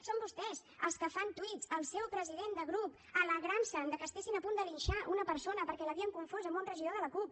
són vostès els que fan tuits el seu president de grup alegrant se que estiguessin a punt de linxar una persona perquè l’havien confós amb un regidor de la cup